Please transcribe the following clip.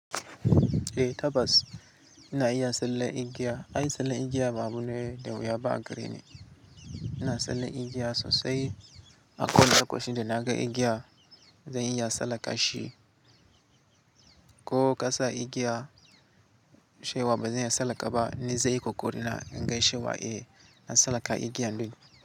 Eh tabbas ina iya sallen igiya. An yi sanin igiya babu nauyi da wuya ba a gareni. Ina sallen igiya sosai. Akowane lokaci da na ga igiya zan iya salaka shi ko kasa igiya shewa bazan iya salaka ba ni zai yi kokari na gaishe wa. Eh, na sallaka igiya duka.